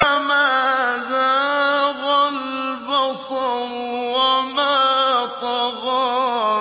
مَا زَاغَ الْبَصَرُ وَمَا طَغَىٰ